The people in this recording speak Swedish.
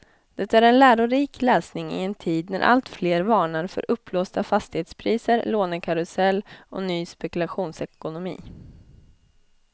Det är en lärorik läsning i en tid när alltfler varnar för uppblåsta fastighetspriser, lånekarusell och ny spekulationsekonomi.